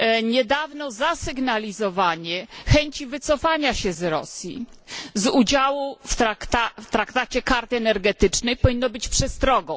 Niedawne zasygnalizowanie chęci wycofania się Rosji z udziału w traktacie Karty energetycznej powinno być przestrogą.